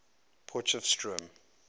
potchefstroom